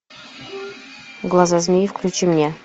глаза змеи включи мне